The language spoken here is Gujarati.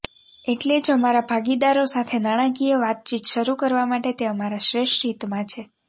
એટલે જ અમારા ભાગીદારો સાથે નાણાકીય વાતચીત શરૂ કરવા માટે તે અમારા શ્રેષ્ઠ હિતમાં છે